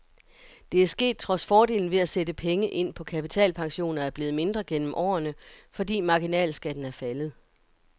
Det er sket trods fordelen ved at sætte penge ind på kapitalpensioner er blevet mindre gennem årene, fordi marginalskatten er faldet.